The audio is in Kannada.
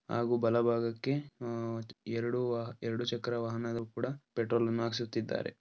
ಹಾಗು ಬಲ ಭಾಗಕ್ಕೆ ಉಮ್ ಎರಡುವಾ ಎರಡು ಚಕ್ರ ವಾಹನದ ಕೂಡ ಪೆಟ್ರೋಲ್ ಅನ್ನು ಹಾಕಿಸುತಿದ್ದಾರೆ.